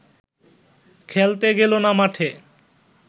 খেলতে গেল না মাঠে